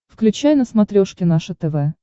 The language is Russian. включай на смотрешке наше тв